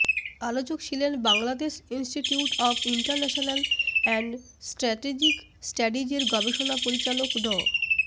আলোচক ছিলেন Bangladesh institute of international and strategic স্টাডিজের গবেষণা পরিচালক ড